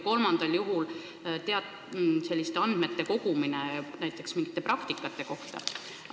Kolmandal juhul on vaja koguda andmeid näiteks mingite praktikate kohta.